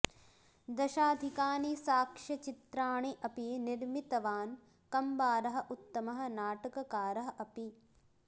दशाधिकानि साक्ष्यचित्राणि अपि निर्मितवान् कम्बारः उत्तमः नाटककारः अपि